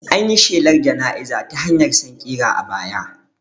An yi shelar jana'iza ta hanyar sankira a baya